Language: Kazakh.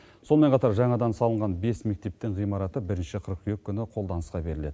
сонымен қатар жаңадан салынған бес мектептің ғимараты бірінші қыркүйек күні қолданысқа беріледі